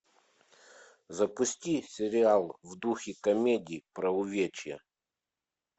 запусти сериал в духе комедии про увечья